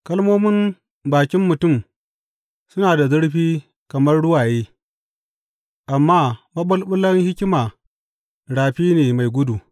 Kalmomin bakin mutum suna da zurfi kamar ruwaye, amma maɓulɓulan hikima rafi ne mai gudu.